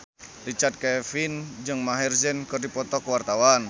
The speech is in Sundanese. Richard Kevin jeung Maher Zein keur dipoto ku wartawan